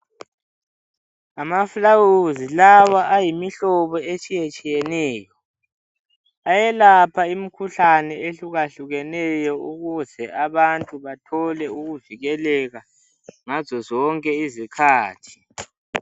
Ngamafulawuzi lawa ayimihlobo etshiyetshiyeneyo. Ayelapha imikhuhlane, ehlukahlukeneyo,, ukuze abantu bathole ukuvikeleka, ngazo zonke izikhathi.